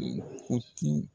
U ti